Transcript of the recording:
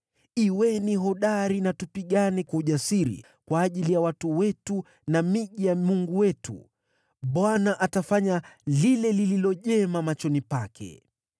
Uwe hodari na tupigane kwa ujasiri kwa ajili ya watu wetu na miji ya Mungu wetu. Bwana atafanya lile lililo jema machoni pake.”